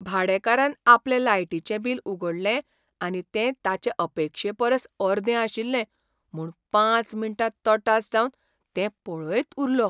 भाडेकारान आपलें लायटीचें बिल उगडलें आनी तें ताचे अपेक्षेपरस अर्दें आशिल्लें म्हूण पांच मिनटां तटास जावन तें पळयत उरलो.